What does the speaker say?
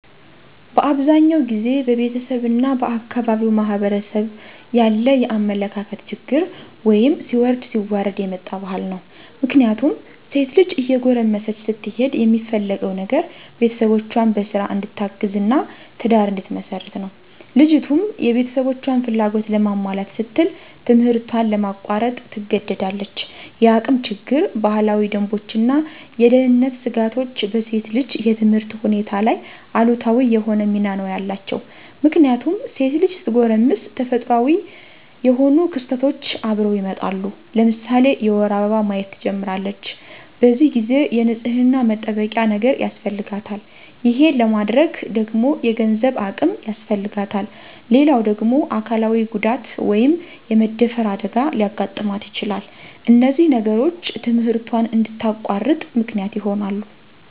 በአብዛኛው ጊዜ በቤተሰብ እና በአካባቢው ማህበረሰብ ያለ የአመለካከት ችግር ወይም ሲወርድ ሲዋረድ የመጣ ባህል ነው። ምክንያቱም ሴት ልጅ እየጎረመሰች ስትሄድ የሚፈለገው ነገር ቤተሰቦቿን በስራ እንድታግዝ እና ትዳር እንድትመሰርት ነው። ልጅቱም የቤተሰቦቿን ፍላጎት ለማሟላት ስትል ትምህርቷን ለማቋረጥ ትገደዳለች። የአቅም ችግር፣ ባህላዊ ደንቦች እና የደህንነት ስጋቶች በሴት ልጅ የትምህርት ሁኔታ ላይ አሉታዊ የሆነ ሚና ነው ያላቸው። ምክንያቱም ሴት ልጅ ስትጎረምስ ተፈጥሮአዊ የሆኑ ክስተቶች አብረው ይመጣሉ። ለምሳሌ የወር አበባ ማየት ትጀምራለች። በዚህ ጊዜ የንፅህና መጠበቂያ ነገር ያስፈልጋታል። ይሄን ለማድረግ ደግሞ የገንዘብ አቅም ያስፈልጋታል። ሌላው ደግሞ አካላዊ ጉዳት( የመደፈር አደጋ) ሊያጋጥማት ይችላል። እነዚህ ነገሮች ትምህርቷን እንድታቋርጥ ምክንያት ይሆናሉ።